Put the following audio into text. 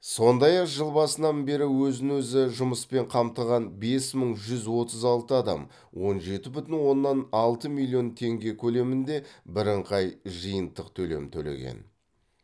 сондай ақ жыл басынан бері өзін өзі жұмыспен қамтыған бес мың жүз отыз алты адам он жеті бүтін оннан алты миллион теңге көлемінде бірыңғай жиынтық төлем төлеген